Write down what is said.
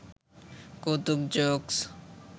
কৌতুক জোকস